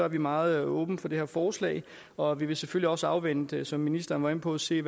vi meget åbne for det her forslag og vi vil selvfølgelig også afvente som ministeren var inde på at se